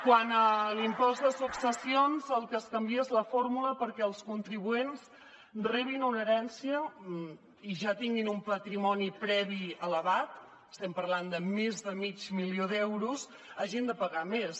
quant a l’impost de successions el que es canvia és la fórmula perquè els contribuents que rebin una herència i ja tinguin un patrimoni previ elevat estem parlant de més de mig milió d’euros hagin de pagar més